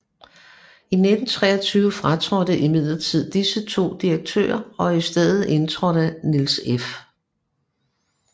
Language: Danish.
I 1923 fratrådte imidlertid disse 2 direktører og i stedet indtrådte Niels F